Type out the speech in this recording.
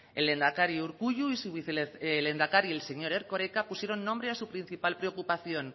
el lehendakari urkullu y su vicelehendakari el señor erkoreka pusieron nombre a su principal preocupación